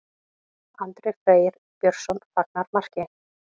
Andri Freyr Björnsson fagnar marki.